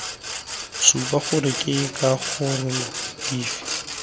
supa gore ke dikarolo dife